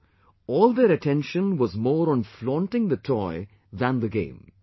Now, all their attention was more on flaunting the toy than the game